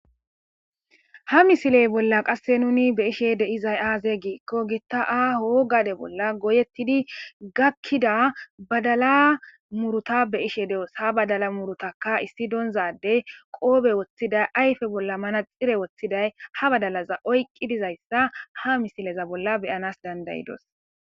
Ha misiley bolla qasse nuni be ishe de izay aaze giikko gitta aahoo gade bolla goyettidi gakkida badala muruta beishe de'os ha badala murutaka issi donzadey qoobe woththiday ayfe bolla mana xire woththiday ha badalaza oyqqi dizayssa ha misileza bolla beyanas dandayidos.